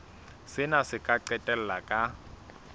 sena se ka qetella ka